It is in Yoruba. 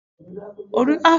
Oriṣiriṣi ọtí oyinbo ló wà